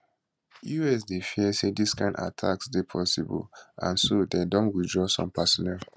us dey fear say dis kain attacks dey possible and so dem don withdraw some personnel